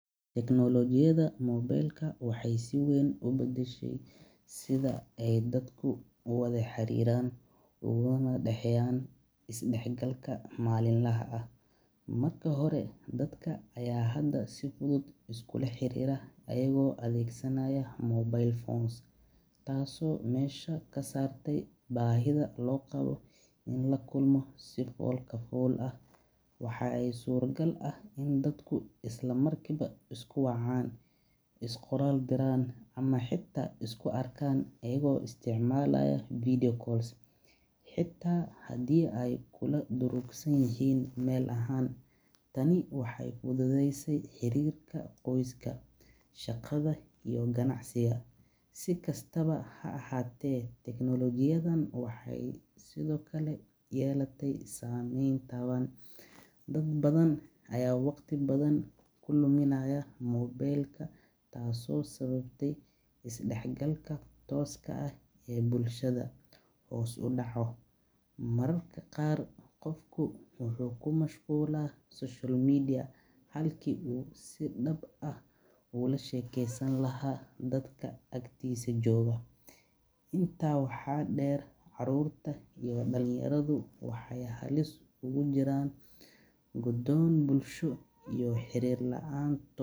Tiknoolajiyadda casriga ah waxay si weyn u fududaysay diiwaangelinta codbixiyayaasha, taasoo ka dhigtay geeddi-socodka mid degdeg ah oo hufan. Hore, dadka waxaa ku adkaatay inay safaf dhaadheer galaan si ay u helaan foomamka diiwaangelinta, balse hadda, iyadoo la adeegsanayo internet iyo barnaamijyo gaar ah, codbixiyayaasha waxay si fudud iskood isu diiwaangelin karaan gurigooda dhexdiisa. Waxaa la isticmaalayaa qalabka biometric sida faraha iyo sawirka wejiga si loo xaqiijiyo qofka diiwaangelinaya, taasoo ka hortagta dadka inay isdiiwaangeliyaan marar badan. Sidoo kale, xogta waxaa lagu kaydiyaa si digital ah, taasoo yareysa khaladaadka iyo luminta warqadaha. Dowladda iyo hay’adaha kale waxay si fudud u heli karaan macluumaadka codbixiyayaasha si loo hubiyo saxnimada diiwaangelinta, taasoo ka dhigaysa doorashooyinka kuwo cadaalad badan. Intaa waxaa dheer, codbixiyayaasha ku nool meelaha fogfog.